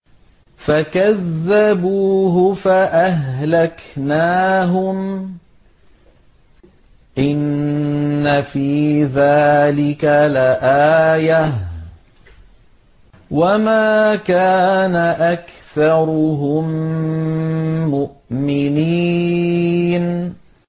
فَكَذَّبُوهُ فَأَهْلَكْنَاهُمْ ۗ إِنَّ فِي ذَٰلِكَ لَآيَةً ۖ وَمَا كَانَ أَكْثَرُهُم مُّؤْمِنِينَ